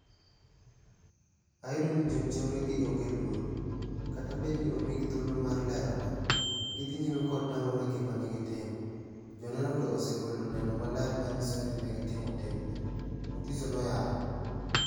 "Ayudo ni jonjore gi onge luor. Kata bed ni omigi thuolo mar lerore, gidhi nyime kod tamore igma negitimo. Joneno to osegolo neno maler manyiso ni negitimo timni." Mutiso noyalo.